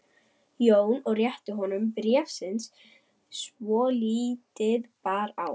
Jóni og rétti honum bréfsnifsi svo lítið bar á.